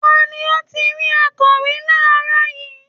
Ta ni ó ti rí akọ̀wé láàárọ̀ yìí?